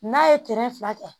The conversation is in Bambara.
N'a ye fila kɛ